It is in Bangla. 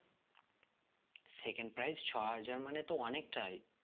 Second prize ছ হাজার মানে তো অনেকটাই